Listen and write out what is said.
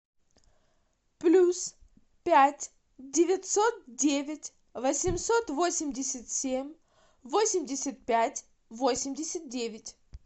плюс пять девятьсот девять восемьсот восемьдесят семь восемьдесят пять восемьдесят девять